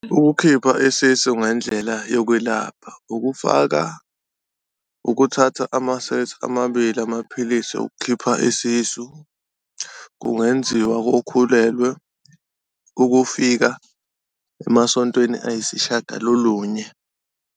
Ukukhipha isisu ngendlela yokwelapha, okufaka ukuthatha amasethi amabili amaphilisi ukukhipha isisu, kungenziwa kokhulelwe ukufika emasontweni ayisishiyagalolunye.